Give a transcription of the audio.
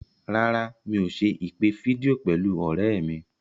Rárá, mi ò ṣe ìpè fídíò pẹ̀lú ọ̀rẹ́ mi.